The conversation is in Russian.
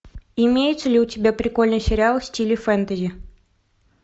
имеется ли у тебя прикольный сериал в стиле фэнтези